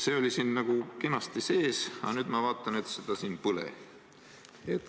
See oli siin nagu kenasti sees, aga nüüd ma vaatan, et seda siin pole.